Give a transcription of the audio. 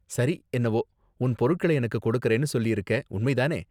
சரி என்னவோ, உன் பொருட்கள எனக்கு கொடுக்கறேன்னு சொல்லிருக்க, உண்மை தானே?